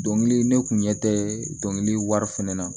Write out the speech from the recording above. Dɔnkili ne kun ɲɛ tɛ dɔnkili wari fana na